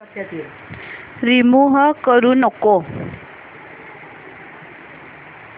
remove करू नको